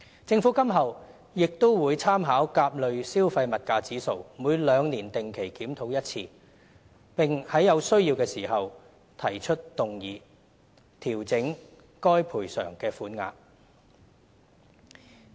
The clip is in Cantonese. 政府今後亦會參考甲類消費物價指數，每兩年定期檢討一次，並在有需要時提出議案，調整該賠償的款額。